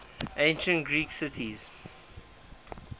ancient greek cities